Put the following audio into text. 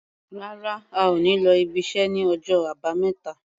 Rárá, a ò ní lọ ibiṣẹ́ ní ọjọ́ Àbámẹ́ta.